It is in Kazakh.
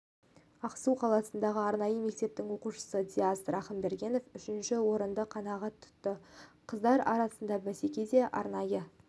ақсу қаласындағы арнайы мектептің оқушысы диас рахымбергенов үшінші орынды қанағат тұтты қыздар арасындағы бәсекеде арнайы